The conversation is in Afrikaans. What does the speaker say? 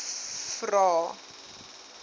vvvvrae